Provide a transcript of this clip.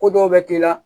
Ko dɔw bɛ k'i la